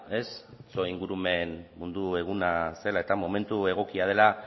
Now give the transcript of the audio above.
ingurumen mundu eguna zela eta momentu egokia dela